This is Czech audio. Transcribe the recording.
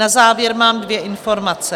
Na závěr mám dvě informace.